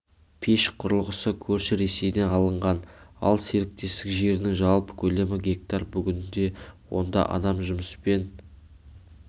пеш құрылғысы көрші ресейден алынған ал серіктестік жерінің жалпы көлемі га бүгінде онда адам жұмыспен